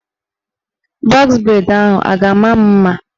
Bọz breid ahụ a ga-ama m mma?